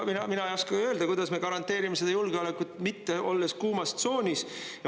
Mina ei oska öelda, kuidas me garanteerime seda julgeolekut, mitte olles kuumas tsoonis.